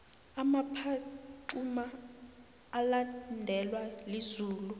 umaphaxuma ulandelwa lizulu